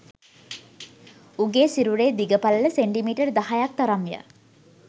උගේ සිරුරේ දිග පළල සෙන්ටිමීටර් දහයක් තරම්ය